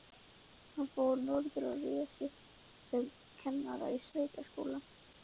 Hann fór norður og réði sig sem kennara við sveitaskóla.